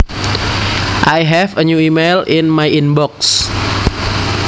I have a new email in my inbox